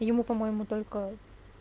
ему по-моему только